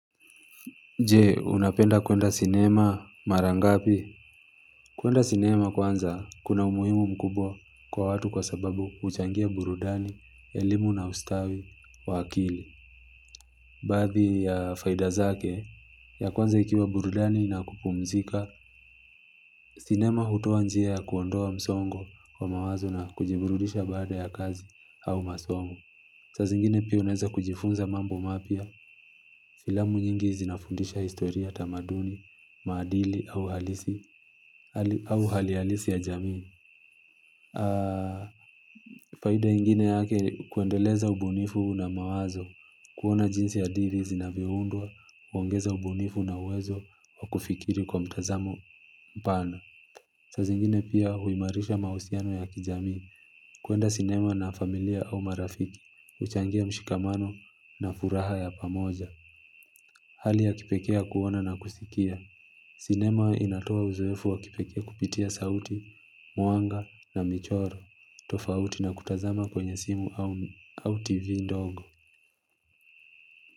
Je, unapenda kuenda sinema mara ngapi? Kuenda sinema kwanza, kuna umuhimu mkubwa kwa watu kwa sababu huchangia burudani, elimu na ustawi, wa akili. Baadhi ya faida zake, ya kwanza ikiwa burudani na kupumzika, sinema hutoa njia ya kuondoa msongo wa mawazo na kujiburudisha baada ya kazi au masomo. Saa zingine pia unaeza kujifunza mambo mapya. Filamu nyingi zinafundisha historia tamaduni, maadili au hali halisi ya jamii faida ingine yake ni kuendeleza ubunifu na mawazo kuona jinsi hadithi zinavyoundwa, kuongeza ubunifu na uwezo wa kufikiri kwa mtazamo pana saa zingine pia huimarisha mahusiano ya kijamii kuenda sinema na familia au marafiki huchangia mshikamano na furaha ya pamoja Hali ya kipekee ya kuona na kusikia. Sinema inatoa uzoefu wa kipekee kupitia sauti, mwanga na michoro, tofauti na kutazama kwenye simu au TV ndogo.